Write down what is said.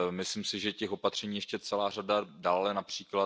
Myslím si, že těch opatření je ještě celá řada, dále např.